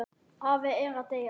Afi er að deyja.